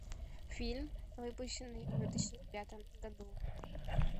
фильм выпущенный в две тысячи пятом году